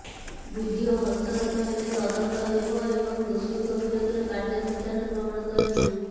video ହସ୍ତଗତ ହେଲେ ତଦନ୍ତ ହେବ ଏବଂ ଦୋଷୀଙ୍କ ବିରୋଧରେ କାର୍ଯ୍ୟାନୁଷ୍ଠାନ ଗ୍ରହଣ କରାଯିବ